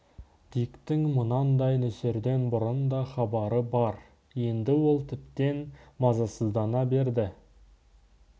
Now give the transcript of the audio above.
диктің мұндай нөсерден бұрын да хабары бар енді ол тіптен мазасыздана берді